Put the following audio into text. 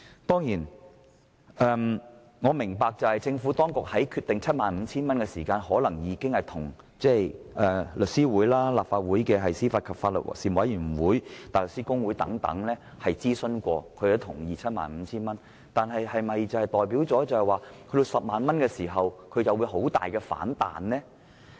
當然，我明白政府當局決定將限額提高至 75,000 元時，可能已諮詢香港律師會、立法會司法及法律事務委員會及香港大律師公會等，而他們亦同意這限額，但這是否表示將限額提高至 100,000 元，他們便會激烈反對？